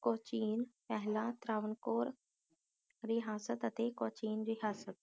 ਕੋਚੀਨ ਪਹਿਲਾਂ ਤਰਾਵਨ ਕੋਰ ਰਿਹਾਸਤ ਅਤੇ ਕੋਚੀਨ ਰਿਹਾਸਤ